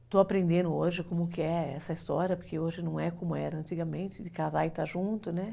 Estou aprendendo hoje como que é essa história, porque hoje não é como era antigamente, de casar e estar junto, né?